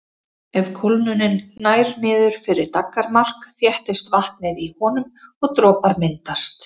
Ef kólnunin nær niður fyrir daggarmark þéttist vatnið í honum og dropar myndast.